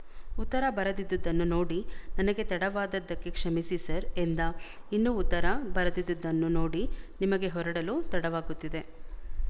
ಉತ್ತರ ಬರದಿದ್ದುದನ್ನು ನೋಡಿ ನನಗೆ ತಡವಾದದ್ದಕ್ಕೆ ಕ್ಷಮಿಸಿ ಸರ್ ಎಂದ ಇನ್ನೂ ಉತ್ತರ ಬರದಿದ್ದುದ್ನು ನೋಡಿ ನಿಮಗೆ ಹೊರಡಲು ತಡವಾಗುತ್ತಿದೆ